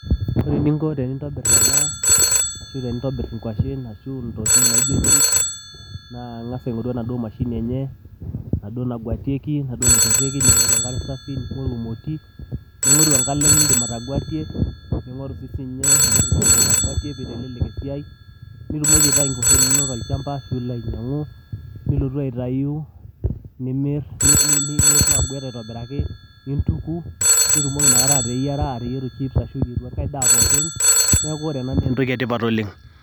Ore eningo tenintobirr ena ashu tenintobirr nkuashen ashu ntokitin naijo chips, naa ing'as aing'oru enaduo mashini enye, enaduo naguetieki, enaduo naiperrieki ning'orurur enkare safi, ning'oru emoti, ning'oru enkalem niiindim ataguetie, ning'oru sii siininye entoki piitelelek esiai, nitumoki aitayu nkuashen inonok tolchamba ashu ilo ainyang'u nilotu aguet aitobiraki nintuku nitumoki inakata ateyieru chips ashu iyieu enkae daa pooki, neeku ore ena naa entoki etipat oleng'.